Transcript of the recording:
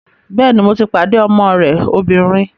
Bẹ́ẹ̀ni, mo ti pàdé ọmọ rẹ obìnrin